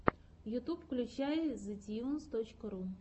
ютуб включай зэтьюнс точка ру